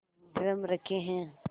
drum रखे हैं